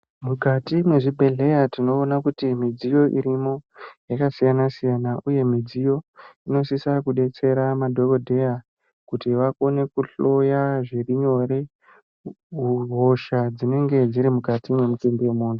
Mukati mezvibhedhlera tinoona kuti midziyo irimo Yaakasiyana siyana uye midziyo inosisa kudetsera madhokodheya kuti vakone kuhloya zviri nyore hosha dzinenge dziri mukati wemutumbi wemuntu.